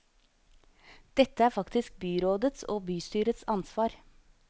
Dette er faktisk byrådets og bystyrets ansvar.